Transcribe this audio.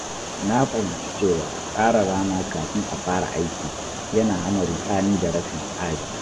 Na fahimci cewa tsara rana kafin a fara aiki yana hana ruɗani da rashin tsari.